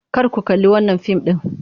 Kar ku kalli wannan fim din!